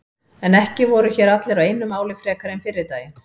En ekki voru hér allir á einu máli frekar en fyrri daginn.